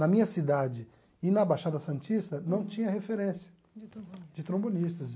Na minha cidade e na Baixada Santista, não tinha referência. De trombonistas. De trombonistas.